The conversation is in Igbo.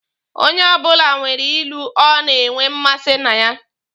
Onye ọbụla nwere ilu o na-enwe mmasi na ya.